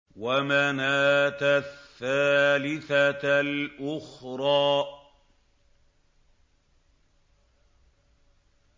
وَمَنَاةَ الثَّالِثَةَ الْأُخْرَىٰ